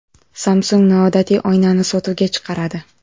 Samsung noodatiy oynani sotuvga chiqaradi .